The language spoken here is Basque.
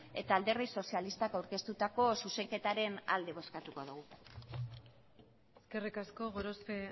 eta alderdi sozialistak aurkeztutako zuzenketaren alde bozkatuko dugu eskerrik asko gorospe